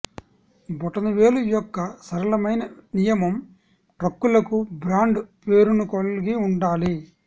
బొటనవేలు యొక్క సరళమైన నియమం ట్రక్కులకు బ్రాండ్ పేరును కలిగి ఉండాలి